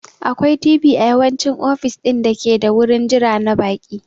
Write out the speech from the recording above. Akwai TV a yawanci ofis ɗin dake da wurin jira na baƙi..